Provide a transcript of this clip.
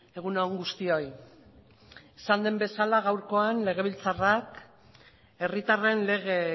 egun on guztioi esan den bezala gaurkoan legebiltzarrak herritarren lege